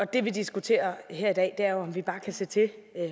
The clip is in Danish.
det vi diskuterer her i dag er jo om vi bare kan se til